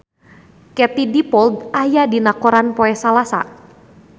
Katie Dippold aya dina koran poe Salasa